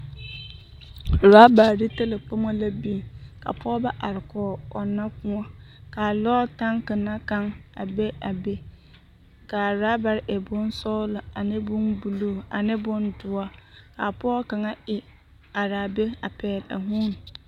Urɔbare ne talakpomo la biŋ ka pɔɔbɔ are kɔɡe ɔnnɔ kõɔ ka a lɔɔre taŋke na kaŋ a be a be ka a rɔbare e bonsɔɡelɔ ane bombuluu ane bondoɔre ka pɔɔ kaŋa e are a be a pɛɡele a huune.